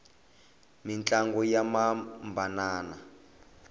mintlangu ya hambanana